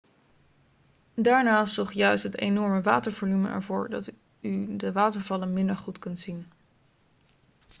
daarnaast zorgt juist het enorme watervolume ervoor dat u de watervallen minder goed kunt zien